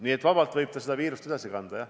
Nii et jah, ta võib vabalt seda viirust edasi kanda.